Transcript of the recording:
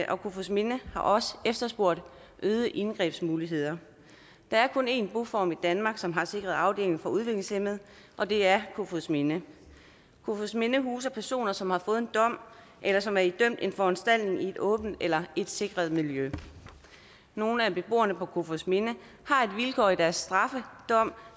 og kofoedsminde har også efterspurgt øgede indgrebsmuligheder der er kun én boform i danmark som har en sikret afdeling for udviklingshæmmede og det er kofoedsminde kofoedsminde huser personer som har fået en dom eller som er idømt en foranstaltning i et åbent eller et sikret miljø nogle af beboerne på kofoedsminde har et vilkår i deres straf